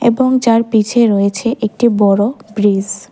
এবং যার পিছে রয়েছে একটি বড় ব্রিজ ।